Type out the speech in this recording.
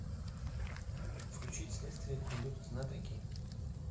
включить следствие ведут знатоки